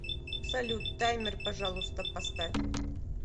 салют таймер пожалуйста поставь